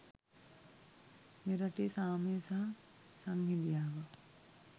මෙරටේ සාමය සහ සංහිඳියාව